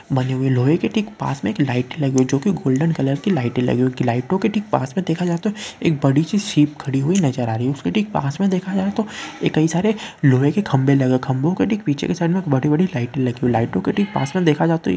बनी हुई लोह के ठीक पास में एक लाइट लगी हुई जो की गोल्डन कलर की लाइटे लगी हुई की लाइटो के ठीक पास में देखा जाए तो एक बड़ी सी शिप खड़ी हुई नजर आ रही है उसके ठीक पास में देखा जाए तो ए कई सारे लोहे के खंभे लगा खंभों के पीछे के साइड में बड़ी बड़ी लाइट लगी। लाइटों के ठीक पास में देखा जाए तो यह --